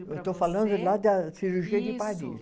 Eu estou falando lá da cirurgia de Paris. Isso